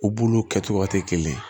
U bulu kɛcogo tɛ kelen ye